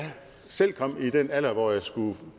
selv kom i den alder hvor jeg skulle